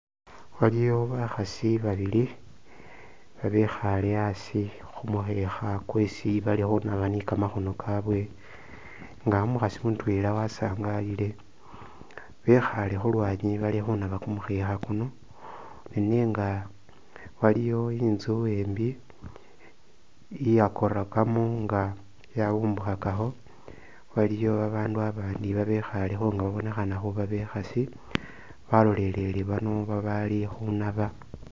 Waliwo bakhasi babili abekhale asi khumukhekha kwesi bali khunaba ni kamakhono kabwe nga umukhasi mutwela wasangalile bekhale khulwanyi bali khunaba kumukhekha kuno nenenga waliwo itsu embi iya korakamo nga yawumbukhakakho waliyo abandu abandi ibekhalekho nga babonekhana khuba bekhasi balolelele bano babali khunaba.